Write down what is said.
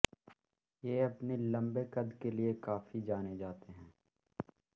ये अपनी लम्बे कद के लिए काफी जाने जाते हैं